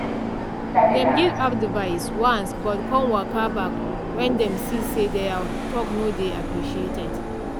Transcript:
dem give advice once but con waka back when dem see say their talk no dey appreciated.